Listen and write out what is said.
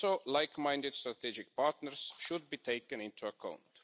Like minded strategic partners should also be taken into account.